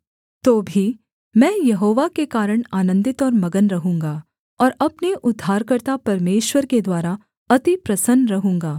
तो भी मैं यहोवा के कारण आनन्दित और मगन रहूँगा और अपने उद्धारकर्ता परमेश्वर के द्वारा अति प्रसन्न रहूँगा